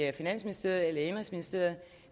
i finansministeriet eller i indenrigsministeriet